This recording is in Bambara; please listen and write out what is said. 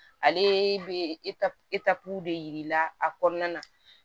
Ale bɛ de yir'i la a kɔnɔna na